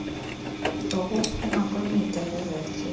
zokuphuma kwimida yezakhiwo